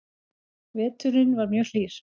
Veturinn var mjög hlýr